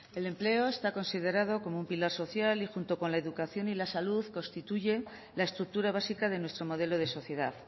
el empleo está considerado como un pilar social y junto con la educación y la salud constituye la estructura básica de nuestro modelo de sociedad